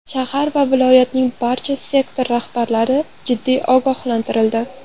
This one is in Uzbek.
Shahar va viloyatning barcha sektor rahbarlari jiddiy ogohlantirildi.